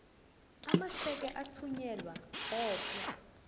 amasheke athunyelwa odwa